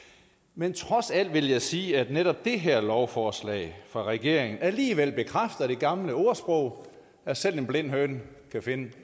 men trods alt vil jeg sige at netop det her lovforslag fra regeringens side alligevel bekræfter det gamle ordsprog at selv en blind høne kan finde